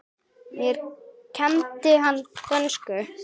Mér kenndi hann dönsku.